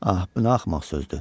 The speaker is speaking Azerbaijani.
Ax, bu nə axmaq sözdür.